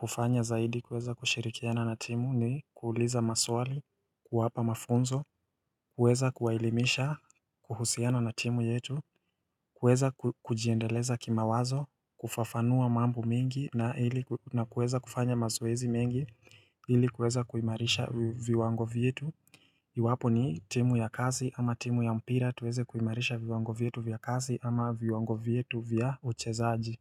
hufanya zaidi kuweza kushirikiana na timu ni kuuliza maswali, kuwapa mafunzo, kuweza kuwaelimisha, kuhusiana na timu yetu, kuweza kujiendeleza kima wazo, kufafanua mambo mingi na kuweza kufanya mazoezi mengi, ili kuweza kuimarisha viwango vyetu Iwapo ni timu ya kazi ama timu ya mpira tuweze kuimarisha viwango vietu vya kazi ama viwango vietu vya uchezaaji.